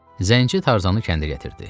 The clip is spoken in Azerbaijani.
Zənci Tarzanı kəndə gətirdi.